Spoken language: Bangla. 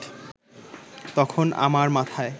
তখন আমার মাথায়